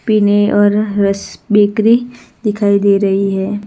पीने और हर्ष बेकरी दिखाई दे रही है।